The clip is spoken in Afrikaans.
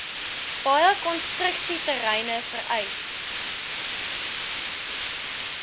baie konstruksieterreine vereis